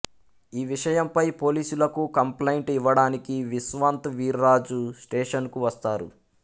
ఈ విషయంపై పోలీసులకు కంప్లైంట్ ఇవ్వడానికి విశ్వంత్ వీర్రాజు స్టేషనుకు వస్తారు